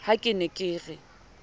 ha ke ne ke re